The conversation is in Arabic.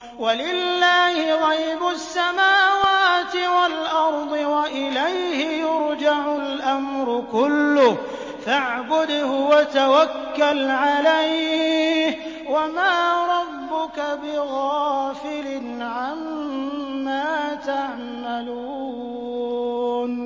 وَلِلَّهِ غَيْبُ السَّمَاوَاتِ وَالْأَرْضِ وَإِلَيْهِ يُرْجَعُ الْأَمْرُ كُلُّهُ فَاعْبُدْهُ وَتَوَكَّلْ عَلَيْهِ ۚ وَمَا رَبُّكَ بِغَافِلٍ عَمَّا تَعْمَلُونَ